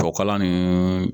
Tubabukalan nin